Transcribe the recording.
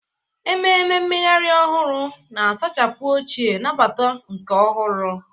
Ememe mmeghari ohuru, na-asachapụ ochie, nabata nke ọhụrụ.